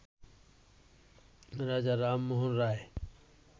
রাজা রামমোহন রায়